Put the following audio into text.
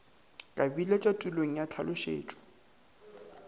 ka biletšwa tulong ya tlhalošetšo